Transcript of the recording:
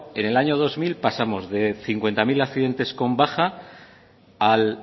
en el año dos mil pasamos de cincuenta mil accidentes con baja al